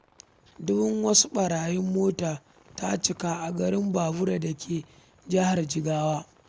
Dubun wasu ɓarayin mota ta cika a garin Ɓaɓura da yake Jihar Jigawa.